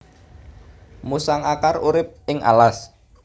Musang akar urip ing alas